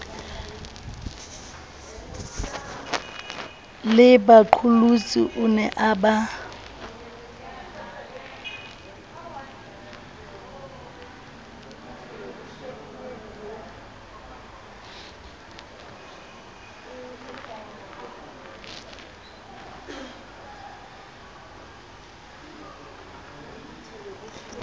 lebaqolotsi o ne a ba